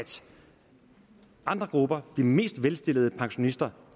andre grupper de mest velstillede pensionister